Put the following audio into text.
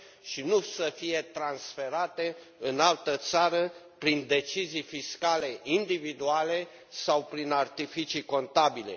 și nu să fie transferate în altă țară prin decizii fiscale individuale sau prin artificii contabile.